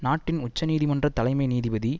நாட்டின் உச்சநீதிமன்ற தலைமை நீதிபதி